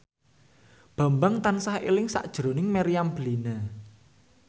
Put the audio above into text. Bambang tansah eling sakjroning Meriam Bellina